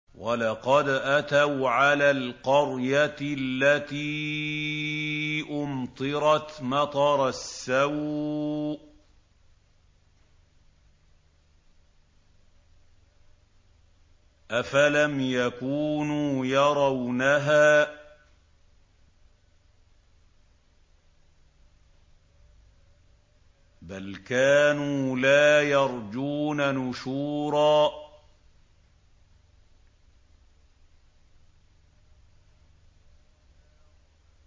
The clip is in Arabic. وَلَقَدْ أَتَوْا عَلَى الْقَرْيَةِ الَّتِي أُمْطِرَتْ مَطَرَ السَّوْءِ ۚ أَفَلَمْ يَكُونُوا يَرَوْنَهَا ۚ بَلْ كَانُوا لَا يَرْجُونَ نُشُورًا